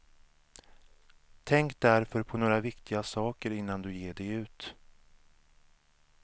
Tänk därför på några viktiga saker innan du ger dig ut.